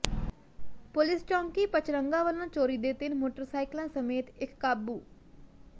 police ਚੌਕੀ ਪਚਰੰਗਾ ਵੱਲੋਂ ਚੋਰੀ ਦੇ ਤਿੰਨ ਮੋਟਰਸਾਈਕਲਾਂ ਸਮੇਤ ਇਕ ਕਾਬੂ